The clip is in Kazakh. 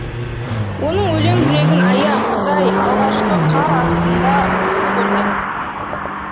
оның өлең жүрегін ая құдай алғашқы қар астында үсіп өлген